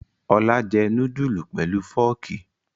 Ọlá jẹ núdúlù pelu fọ́ọ́kì.